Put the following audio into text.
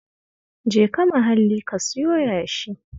Jeka Mahalli ka siyo yashi